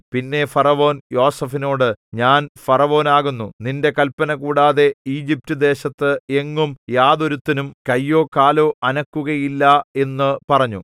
പിന്നെ ഫറവോൻ യോസേഫിനോട് ഞാൻ ഫറവോൻ ആകുന്നു നിന്റെ കല്പന കൂടാതെ ഈജിപ്റ്റുദേശത്ത് എങ്ങും യാതൊരുത്തനും കൈയോ കാലോ അനക്കുകയില്ല എന്നു പറഞ്ഞു